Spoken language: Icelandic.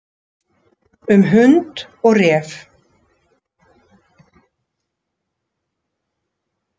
Um hund og ref.